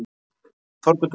Þorbjörn Rúnarsson.